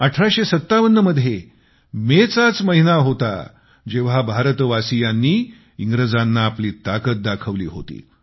1857 मध्ये मेचाच महिना होता जेव्हा भारतवासीयांनी इंग्रजांना आपली ताकद दाखवली होती